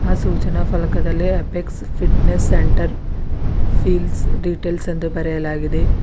ಆ ಸೂಚನಾ ಪಲಕದಲ್ಲಿ Apex fitness centre feels details ಎಂದು ಬರೆಯಲಾಗಿದೆ.